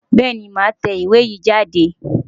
Bẹ́ẹ̀ni màá tẹ ìwé yìí jáde.